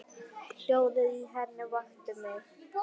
Hljóðið í henni vakti mig.